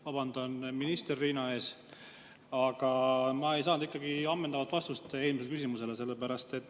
Vabandan minister Riina ees, aga ma ei saanud ikkagi ammendavat vastust eelmisele küsimusele.